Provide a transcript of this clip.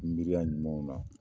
Miiriya ɲumanw na.